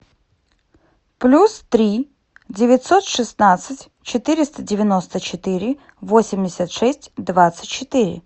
плюс три девятьсот шестнадцать четыреста девяносто четыре восемьдесят шесть двадцать четыре